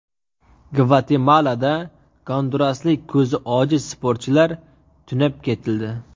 Gvatemalada gonduraslik ko‘zi ojiz sportchilar tunab ketildi.